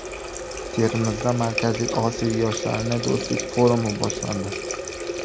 Termizda Markaziy Osiyo yoshlarining do‘stlik forumi boshlandi.